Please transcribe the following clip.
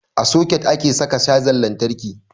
A soket ake saka cajan lantarki.